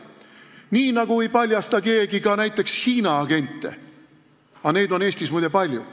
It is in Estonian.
Nii nagu ei paljasta keegi ka näiteks Hiina agente, keda on Eestis muide palju.